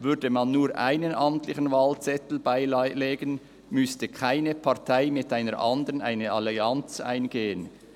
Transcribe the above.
Würde man nur einen amtlichen Wahlzettel beilegen, müsste keine Partei mit einer anderen eine Allianz eingehen.